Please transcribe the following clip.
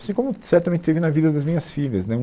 Assim como certamente teve na vida das minhas filhas, né?